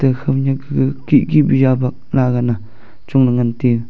ekha ma nak kega kih kih pe yabak nagan a chong le ngan tega.